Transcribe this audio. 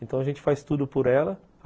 Então a gente faz tudo por ela.